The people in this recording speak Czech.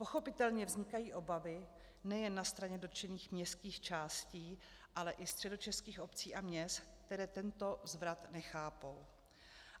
Pochopitelně vznikají obavy nejen na straně dotčených městských částí, ale i středočeských obcí a měst, které tento zvrat nechápou.